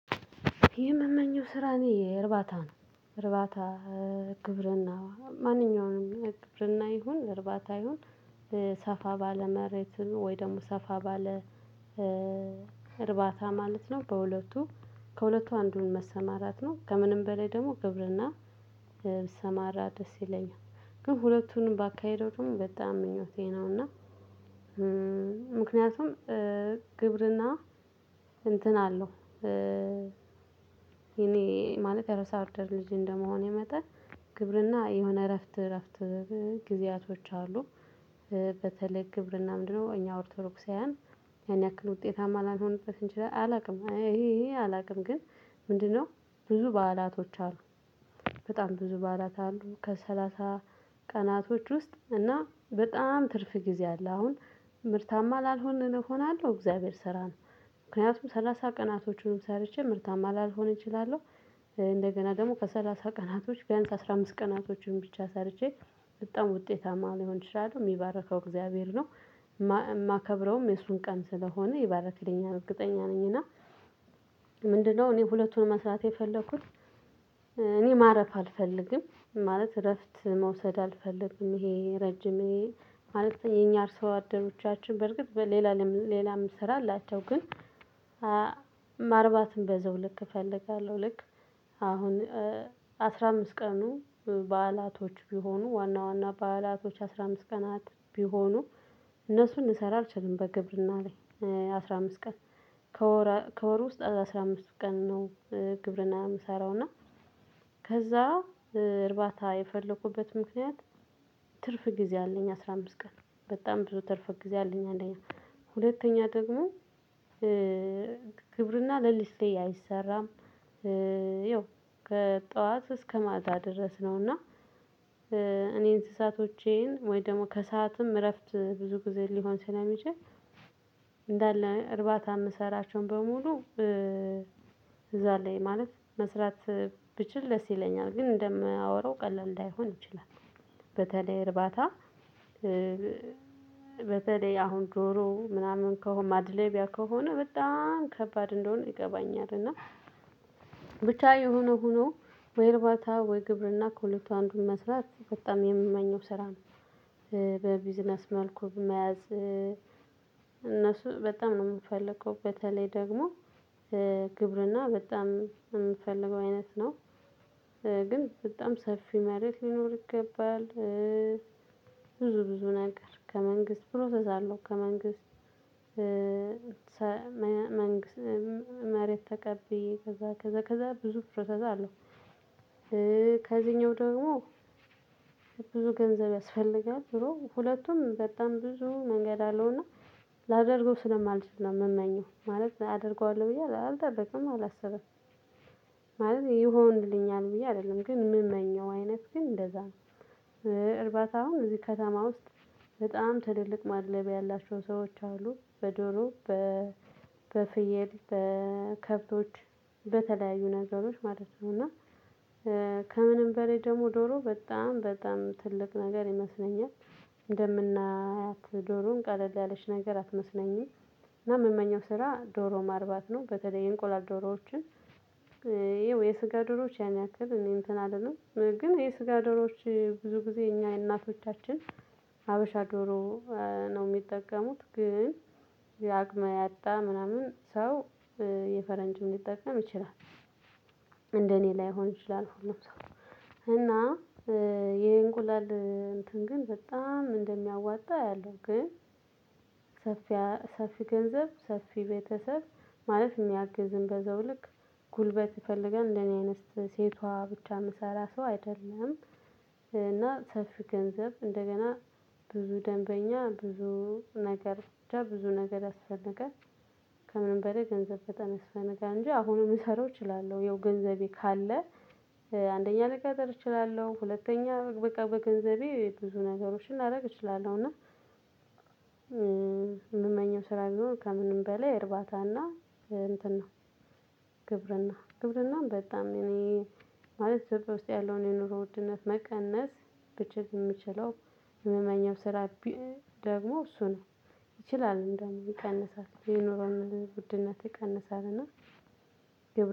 የምመኘው ስራ እኔ እርባታ ነው እርባታ ግብርና ማንኛውንም ግብርና ይሁን እርባታ ይሁን ሰፋ ባለ መሬት ወይ ደግሞ ሰፋ ባለ እርባታ ማለት ነው። በሁለቱ ከሁለቱ አንዱን መሰማራት ነው ከምንም በላይ ደግሞ ግብርና ብሰማራ ደስ ይለኛል ግን ሁለቱንም ባካሄደው በጣም ምኞቴ ነውና። ምክንያቱም ግብርና እንትን አለው። የኔ ማለት የአርሶ አደር ልጅ እንደመሆኔ መጠን ግብርና የሆነ እረፍት እረፍት ጊዜያቶች አሉ። በተለይ ግብርና ምንድነው እኛ ኦርቶዶክሳውያን ያን ያክል ውጤታማ ላልሆንበት እንችላለን አላውቅም። ይሄ ይሄ አላውቅም። ግን ምንድነው ብዙ በዓላቶች አሉ። በጣም ብዙ በዓላት አሉ ከሰላሳ ቀናቶች ውስጥ እና በጣም ትርፍ ጊዜ አለ። አሁን ምርታማ ላልሆን እሆናለሁ። እግዚአብሔር ስራ ነው ምክንያቱም 30 ቀናቶቹንም ሰርቼ ምርታማ ላልሆን እችላለሁ። እንደገና ደግሞ ከሰላሳ ቀናቶች ቢያንስ አስራ አምስት ቀናቶችን ብቻ ሰርቼ በጣም ውጤታማ ልሆን እችላለው እሚባርከው እግዚአብሔር ነው። የማከብረውም የሱን ቀን ስለሆነ ይባርክልኛል እርግጠኛ ነኝ። እና ምንድነው እኔ ሁለቱን መስራት የፈለኩት። እኔ ማረፍ አልፈልግም ማለት እረፍት መውሰድ አልፈልግም። ይሄ ረጅም ማለት የኛ አርሶ አደሮቻችን በርግጥ ሌላ ሌላም ስራ አላቸው ግን። ማርባትም በዛው ልክ እፈልጋለሁ። ልክ አሁን አስራ አምስት ቀኑ በዓላቶች ቢሆኑ ዋና ዋና በዓላቶች 15 ቀናት ቢሆኑ። እነሱን ልሰራ አልችልም በግብርና ላይ 15 ቀን ከወር ውስጥ አስራ አምስት ቀን ነው። ግብርና እምሰራው እና ከዛ እርባታ የፈለኩበት ምክንያት ትርፍ ጊዜ አለኝ አስራ አምስት ቀን በጣም ብዙ ትርፍ ጊዜ አለኝ። አንደኛ ሁለተኛ ደግሞ ግብርና ለሊት ላይ አይሰራም። ያው ከጠዋት እስከ ማታ ድረስ ነውና። እኔ እንስሳቶቼን ወይ ደግሞ ከሰአትም እረፍት ብዙ ጊዜ ሊሆን ስለሚችል። እንዳለ እርባታ እምሰራቸውን በሙሉ እዛ ላይ ማለት መስራት ብችል ደስ ይለኛል። ግን እንደማወራው ቀላል ላይሆን ይችላል። በተለይ እርባታ በተለይ አሁን ዶሮ ምናምን ከሆነ ማድለቢያ ከሆነ በጣም ከባድ እንደሆነ ይገባኛል። እና ብቻ የሆነው ሁኖ ወይ እርባታ ወይ ግብርና ከሁለቱ አንዱን መስራት በጣም የምመኘው ስራ ነው። በቢዝነስ መልኩ መያዝ እነሱ በጣም ነው እምፈልገው በተለይ ደግሞ ግብርና በጣም እምፈልገው አይነት ነው። ግን በጣም ሰፊ መሬት ሊኖር ይገባል። ብዙ ብዙ ነገር ከመንግስት ፕሮሰስ አለው ከመንግስት መሬት ተቀብዬ ከዛ ከዛ ከዛ ብዙ ፕሮሰስ አለው። ከዚህኛው ደግሞ ብዙ ገንዘብ ያስፈልጋል ዙሮ ሁለቱም በጣም ብዙ መንገድ አለውና። ላደርገው ስለማልችል ነው እምመኘው ማለት አደርገዋለሁ ብዬ አላደረግም አላሰበም ማለት ይሆንልኛል ብዬ አይደለም ግን እምመኘው አይነት ግን እንደዛ ነው። እርባታውም እዚህ ከተማ ውስጥ በጣም ትልልቅ ማድለቢያ ያላቸው ሰዎች አሉ በደሮ በፍየል በከብቶች በተለያዩ ነገሮች ማለት ነው። እና ከምንም በላይ ደግሞ ዶሮ በጣም በጣም ትልቅ ነገር ይመስለኛል። እንደምናያት ዶሮን ቀለል ያለች ነገር አትመስለኝም። እና የምመኘው ስራ ዶሮ ማርባት ነው። በተለይ የእንቆላል ዶሮዎችን ያው የስጋ ዶሮዎች ያን ያክል እኔ እንትን አልልም ግን የስጋ ዶሮዎች ብዙ ጊዜ እኛ የእናቶቻችን ሀበሻ ዶሮ ነው እሚጠቀሙት ግን የአቅመ ያጣ ምናምን ሰው የፈረንጅ ሊጠቀም ይችላል። እኔ ላይሆን ይችላል እና የ እንቁላል እንትን ግን በጣም እንደሚያዋጣ አያለሁ። ግን ሰፊ ገንዘብ ሰፊ ቤተሰብ ማለት እሚያግዝ በዛው ልክ ጉልበት ይፈልጋል እንደ እኔ አይነት ሴቷ ብቻ እምሰራ ሰው አይደለም። እና ሰፊ ገንዘብ እንደገና ብዙ ደንበኛ ብዙ ነገር ብቻ ብዙ ነገር ያስፈልጋል። ከምንም በላይ ገንዘብ በጣም ያስፈልጋል እንጂ አሁንም ልሰራው እችላለሁ ያው ገንዘቤ ካለ። አንደኛ ልቀጥር እችላለሁ ሁለተኛ በቃ በገንዘቤ ብዙ ነገሮችን ላደርግ እችላለሁ እና። እምመኘው ስራ ቢሆን ከምንም በላይ እርባታና እንትን ነው። ግብርና ግብርናን በጣም እኔ ማለት ኢትዮጵያ ውስጥ ያለውን የኑሮ ውድነት መቀነስ በጀት እሚችለው እምመኘው ስራ ቢእ ደግሞ እሱ ነው። ይችላል እንደውም ይቀንሳል የኑሮን ውድነት ይቀንሳል እና።